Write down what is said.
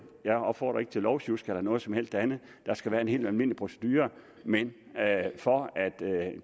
jeg opfordrer ikke til lovsjusk eller noget som helst andet der skal være en helt almindelig procedure men for at